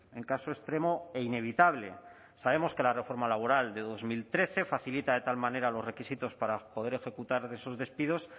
en caso extremo e inevitable sabemos que la reforma laboral de dos mil trece facilita de tal manera los requisitos para poder ejecutar esos despidos